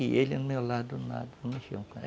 E ele, ao meu lado, nada, não mexeu com nada.